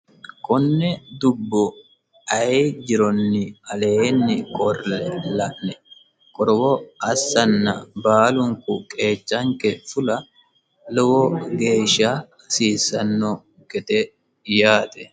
Kone dubbo ayee jironi aleenni qolle la'ne qorowo assanna baalunku qeechanke fulla lowo geeshsha hasiisano gede yaate.